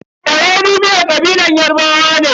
Ewedu miyar kabilar Yarbawa ne.